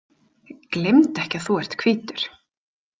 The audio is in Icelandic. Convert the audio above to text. Gleymdu ekki að þú ert hvítur.